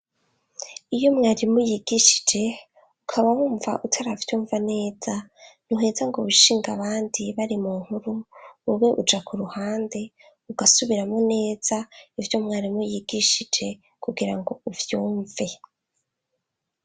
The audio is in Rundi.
Iyo mwarimu yigishije ukabawumva utaravyumva neza ntuheza ngo wishinge abandi bari mu nkuru, wewe uja ku ruhande ugasubiramwo neza ivyo mwarimu yigishije kugira ngo uvyumve.